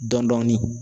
Dɔn dɔɔnin